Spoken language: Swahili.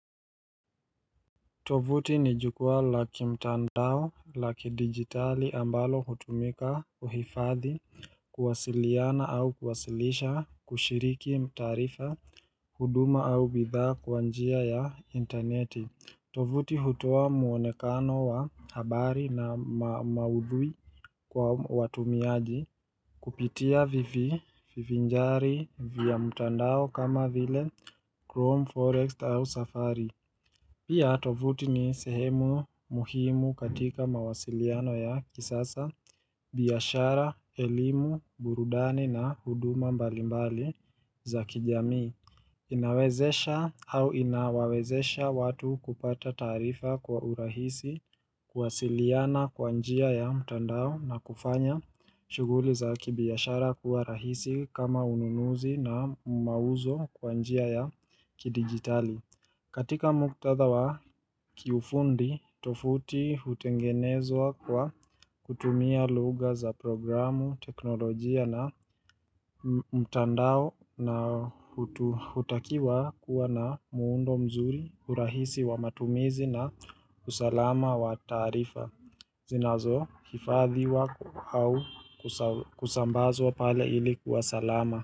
Tovuti ni jukwaa la kimtandao la kidigitali ambalo hutumika kuhifadhi, kuwasiliana au kuwasilisha, kushiriki taarifa, huduma au bidhaa kwa njia ya interneti. Tovuti hutoa mwonekano wa habari na maudhui kwa watumiaji kupitia vivinjari vya mtandao kama vile chrome, forex au safari. Pia tovuti ni sehemu muhimu katika mawasiliano ya kisasa, biashara, elimu, burudani na huduma mbalimbali za kijamii. Inawezesha au inawawezesha watu kupata taarifa kwa urahisi, kuwasiliana kwa njia ya mtandao na kufanya shughuli za kibiashara kuwa rahisi kama ununuzi na mauzo kwa njia ya kidigitali. Katika muktadha wa kiufundi, tovuti hutengenezwa kwa kutumia lugha za programu, teknolojia na mtandao na hutakiwa kuwa na muundo mzuri, urahisi wa matumizi na usalama wa taarifa. Zinazo hifadhiwa au kusambazwa pale ili kuwa salama.